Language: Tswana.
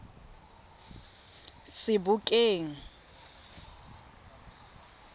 sebokeng